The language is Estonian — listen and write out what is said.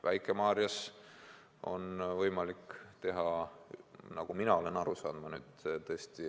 Väike-Maarjas on võimalik seda teha, nagu mina olen aru saanud.